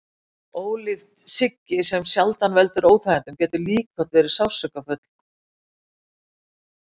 Ólíkt siggi sem sjaldan veldur óþægindum geta líkþorn verið sársaukafull.